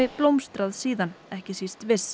blómstrað síðan ekki síst